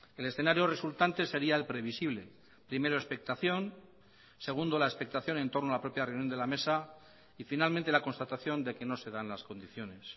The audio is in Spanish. el escenario resultante sería el previsible primero expectación segundo la expectación en torno a la propia reunión de la mesa y finalmente la constatación de que no se dan las condiciones